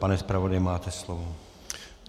Pane zpravodaji, máte slovo.